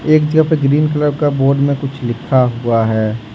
एक जगह पे ग्रीन कलर के बोर्ड मे कुछ लिखा हुआ है।